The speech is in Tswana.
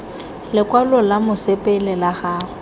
lokwalo lwa mosepele la gago